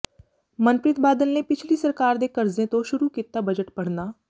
ਮਨਪ੍ਰੀਤ ਬਾਦਲ ਨੇ ਪਿਛਲੀ ਸਰਕਾਰ ਦੇ ਕਰਜ਼ੇ ਤੋਂ ਸ਼ੁਰੂ ਕੀਤਾ ਬਜਟ ਪੜ੍ਹਨਾ